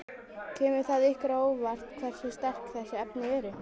Kemur það ykkur á óvart hversu sterk þessi efni eru?